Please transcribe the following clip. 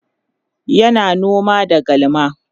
yana noma da galma